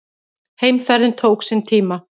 Heimferðin tók sinn tíma.